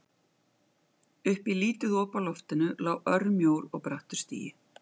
Upp í lítið op á loftinu lá örmjór og brattur stigi.